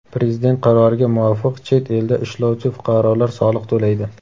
Prezident qaroriga muvofiq chet elda ishlovchi fuqarolar soliq to‘laydi.